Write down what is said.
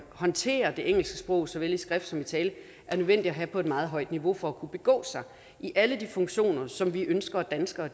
håndtere det engelske sprog såvel i skrift som i tale er nødvendige at have på et meget højt niveau for at kunne begå sig i alle de funktioner som vi ønsker ønsker